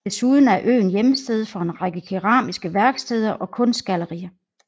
Desuden er øen hjemsted for en række keramiske værksteder og kunstgallerier